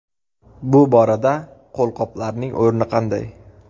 Bu borada qo‘lqoplarning o‘rni qanday?